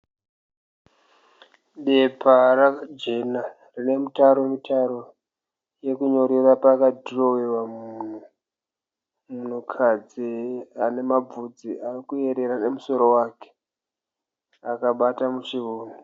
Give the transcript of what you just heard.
Bepa jena rine mitaro mitaro yekunyorera pakadhirowewa munhu. Munhukadzi anemabvudzi arikuyerera nemusoro wake akabata muchiuno.